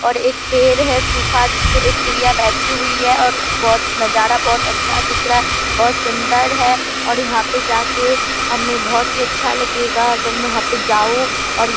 और एक पेड़ है सूखा जिसपे एक चिड़िया बैठी हुई है और बहुत नजारा बहुत अच्छा दिख रहा है बहुत सुंदर है और यहाँ पे जाके हमे बहुत ही अच्छा लगेगा अगर मैं वहाँ पे जाऊ और ये --